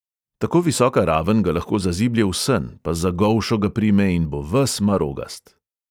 Tako visoka raven ga lahko zaziblje v sen, pa za golšo ga prime in bo ves marogast!